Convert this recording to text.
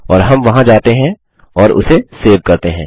और हम वहाँ जाते हैं और उसे सेव करते हैं